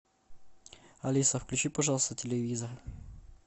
алиса включи пожалуйста телевизор